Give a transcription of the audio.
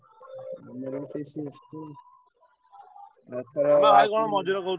ଆମର ବି ସେଇ CSK ଏଥର ।